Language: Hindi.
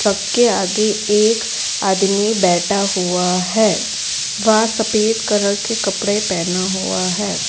आगे एक आदमी बैठा हुआ है वह सफेद कलर के कपड़े पहना हुआ है।